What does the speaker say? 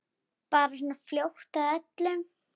Bara svona fljót að öllu.